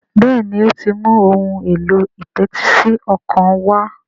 Béèni o tí ń mú Ohun èlò ìtẹ́tísí ọkàn wá.